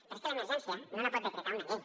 però és que l’emergència no la pot decretar una llei